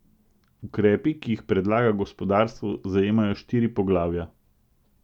Ukrepi, ki jih predlaga gospodarstvo, zajemajo štiri poglavja.